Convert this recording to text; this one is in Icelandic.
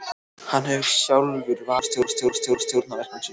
Hann hefur sjálfur valið leikendur og stjórnað verkum sínum.